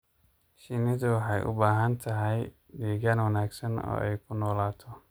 Shinnidu waxay u baahan tahay deegaan wanaagsan oo ay ku noolaato.